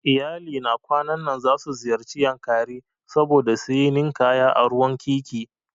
Iyalina kwanan nan zasu ziyarci Yankari saboda suyi ninkaya a ruwan wkiki